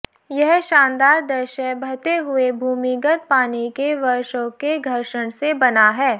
यह शानदार दृश्य बहते हुए भूमिगत पानी के वर्षों के घर्षण से बना है